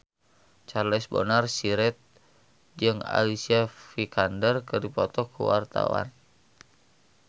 Charles Bonar Sirait jeung Alicia Vikander keur dipoto ku wartawan